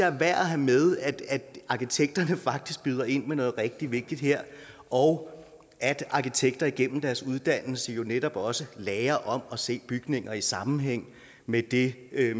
er værd at have med at arkitekterne faktisk byder ind med noget rigtig vigtigt her og at arkitekter igennem deres uddannelse jo netop også lærer om at se bygninger i sammenhæng med det